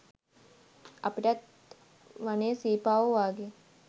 අපිටත් වනේ සීපාවො වාගේ